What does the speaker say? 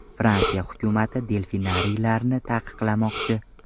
Fransiya hukumati delfinariylarni taqiqlamoqchi.